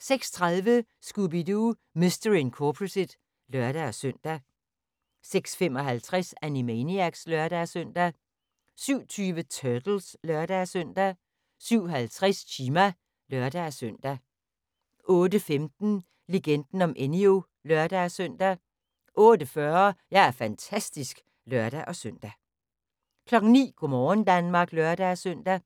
06:30: Scooby-Doo! Mystery Incorporated (lør-søn) 06:55: Animaniacs (lør-søn) 07:20: Turtles (lør-søn) 07:50: Chima (lør-søn) 08:15: Legenden om Enyo (lør-søn) 08:40: Jeg er fantastisk (lør-søn) 09:00: Go' morgen Danmark (lør-søn)